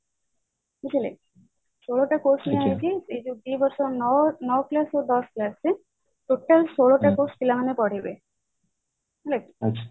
ବୁଝିଲେ ଷୋଳଟା course ନିଆହେଇଛି ଏଇ ଯୋଉ ଦି ବର୍ଷ ନଅ class ଦଶ class ଯାଏ ପିଲାମାନେ ପଢିବେ ହେଲା କି